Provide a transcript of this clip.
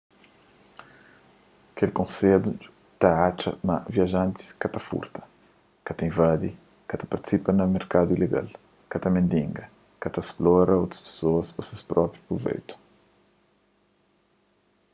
kel konsedju ta atxa ma viajantis ka ta furta ka ta invadi ka ta partisipa na merkadu ilegal ka ta mendiga ka ta splora otu pesoas pa ses própi pruveitu